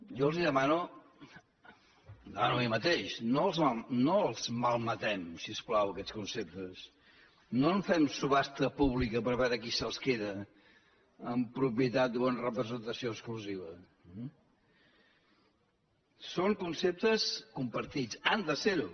jo els demano m’ho demano a mi mateix no els malmetem si us plau aquests conceptes no en fem subhasta pública per veure qui se’ls queda en propietat o en representació exclusiva són conceptes compartits han de serho